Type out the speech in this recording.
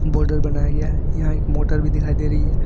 Border बनाया गया है यहां एक मोटर भी दिखाई दे रही है।